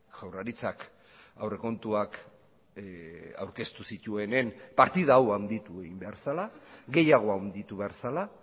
jaurlaritzak aurrekontuak aurkeztu zituenen partida hau handitu egin behar zela gehiago handitu behar zela